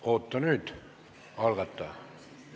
Oota nüüd, algataja!